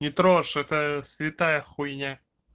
не трожь это святая хуйня